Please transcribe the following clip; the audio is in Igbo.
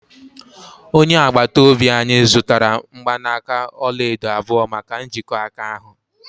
onye agbata obi anyị zụtara mgbanaka ọla edo abụọ maka njikọ aka ahụ